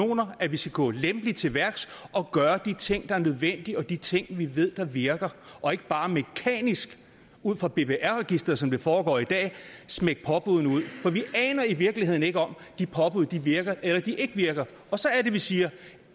kanoner at vi skal gå lempeligt til værks og gøre de ting der er nødvendige og de ting vi ved virker og ikke bare mekanisk ud fra bbr registeret som det foregår i dag smække påbuddene ud for vi aner i virkeligheden ikke om de påbud virker eller de ikke virker og så er det vi siger